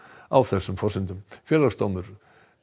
á þessum forsendum Félagsdómur